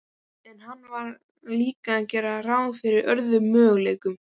En hann varð líka að gera ráð fyrir öðrum möguleikum.